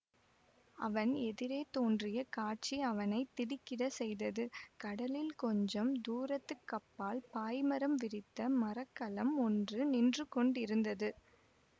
அவன் எதிரே தோன்றிய காட்சி அவனை திடுக்கிடச் செய்தது கடலில் கொஞ்சம் தூரத்துக்கப்பால் பாய் மரம் விரித்த மர கலம் ஒன்று நின்று கொண்டிருந்தது